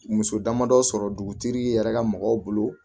Muso damadɔ sɔrɔ dugutigi yɛrɛ ka mɔgɔw bolo